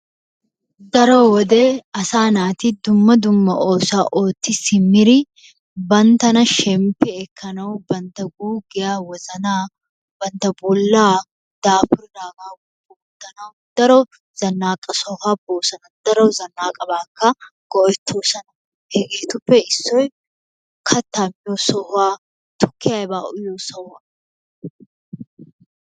Daro wode asaa naati dumma dumma oosuwaa ootti siimmidi banttana shemmppi ekkanawu bantta guuggiyaa bantta wozzanaa bantta bollaa dapuraape woppu oottanawu daro zanaaqa sohuwaa boosona. daro zanaaqabaakka go"ettoosona. hegeetuppeissoy kaattaa miyoo sohuwa tukkiyaa aybaa uyyiyoo sohuwaa.